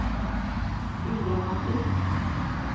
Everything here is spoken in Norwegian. udramatisk